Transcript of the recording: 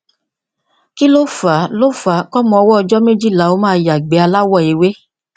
kí lo fa lo fa kọmọ ọwọ ọjọ méjìlá ó máa ya ìgbẹ aláwọ ewé